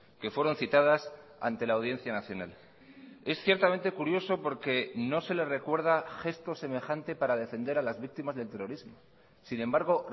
que fueron citadas ante la audiencia nacional es ciertamente curioso porque no se le recuerda gesto semejante para defender a las víctimas del terrorismo sin embargo